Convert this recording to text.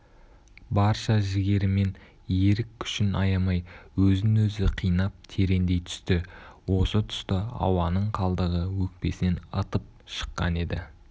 барша жігерімен ерік күшін аямай өзін-өзі қинап тереңдей түсті осы тұста ауаның қалдығы өкпесінен ытып шыққан еді